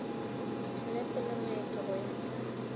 dinepe le maeto go ya